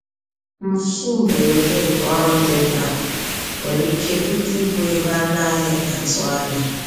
Mfu mberede nke ọrụ dị mkpa nwere ike bute ibu ego a naghị atụ anya.